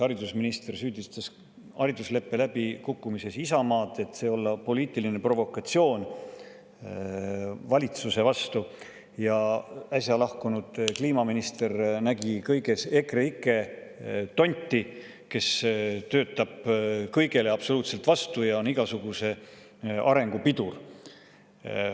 Haridusminister süüdistas haridusleppe läbikukkumises Isamaad, et see olla poliitiline provokatsioon valitsuse vastu, ja äsja lahkunud kliimaminister nägi kõiges EKREIKE tonti, kes töötab absoluutselt kõigele vastu ja on igasuguse arengu pidur.